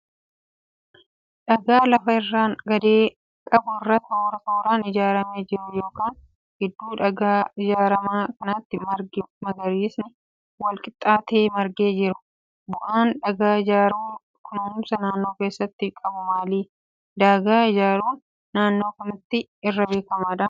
Daagaa lafa irraan gadee qabu irratti toora tooraan ijaaramee jiru, kan gidduu daagaa ijaarame kanaatti margi magariisni wal-qixxaatee margee jiru. Bu'aan daagaa ijaaruun kunuunsa naannoo keessatti qabu maali? Daagaa ijaaruun naannoo kamitti irra beekama?